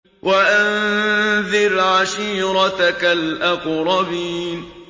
وَأَنذِرْ عَشِيرَتَكَ الْأَقْرَبِينَ